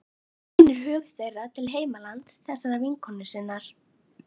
Sýnir hug þeirra til heimalands þessarar vinkonu sinnar.